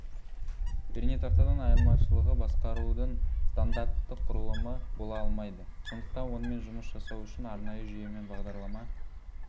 пернетақтадан айырмашылығы басқарудың стандартты құрылымы бола алмайды сондықтан онымен жұмыс жасау үшін арнайы жүйемен бағдарлама